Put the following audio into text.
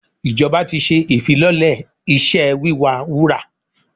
Ìjọba ti ṣe ìfilọ́lẹ̀ iṣẹ́ wíwa wúrà.